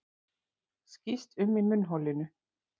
Skýst um í munnholinu.